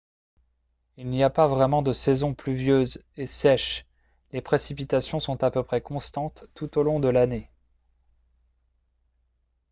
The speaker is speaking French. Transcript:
il n'y a pas vraiment de saisons « pluvieuses » et « sèches »: les précipitations sont à peu près constantes tout au long de l'année